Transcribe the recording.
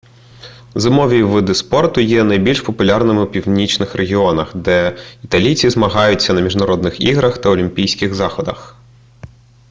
зимові види спорту є найбільш популярними у північних регіонах де італійці змагаються на міжнародних іграх та олімпійських заходах